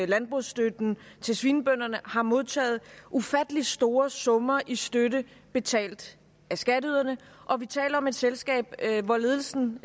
landbrugsstøtten til svinebønderne har modtaget ufattelig store summer i støtte betalt af skatteyderne og vi taler om et selskab hvor ledelsen